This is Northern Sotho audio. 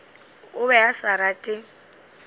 o be a sa rate